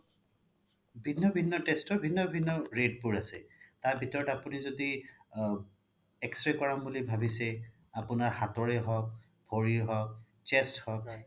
বিভিন্ন test ৰ বিভিন্ন rate বোৰ আছে তাৰ ভিতৰত আপোনি য্দি আ X-ray কৰাম বুলি ভাবিছে আপোনাৰ হাতৰে হওক ভৰি হওক chest হওক